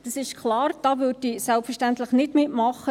Es ist klar, da würde ich selbstverständlich nicht mitmachen.